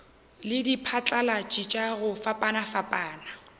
le diphatlalatši tša go fapafapana